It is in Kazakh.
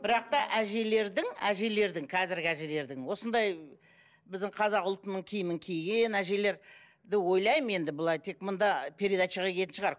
бірақ та әжелердің әжелердің қазіргі әжелердің осындай біздің қазақ ұлтының киімін киген әжелер ойлаймын енді былай тек мында передачаға киетін шығар